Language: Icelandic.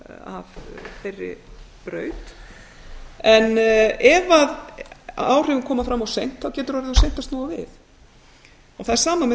af þeirri braut en ef áhrifin koma fram of seint getur orðið of seint að snúa við það er sama með